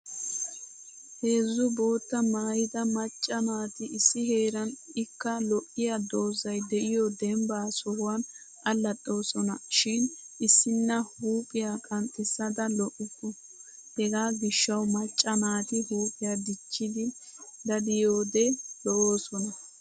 Heezzu boottaa maayida macca naati issi heeran ikka lo'iya doozzay de'iyo dembba sohuwan allaxxoosona shin issinna huuphiya qanxxissada lo'ukku. Hegaa gishshawu macca naati huuphiya dichchidi daddiyoode lo'oosona.